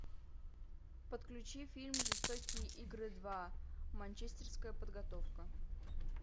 подключи фильм жестокие игры два манчестерская подготовка